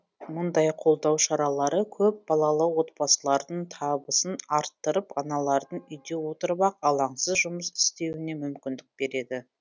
мұндай қолдау шаралары көпбалалы отбасылардың табысын арттырып аналардың үйде отырып ақ алаңсыз жұмыс істеуіне мүмкіндік береді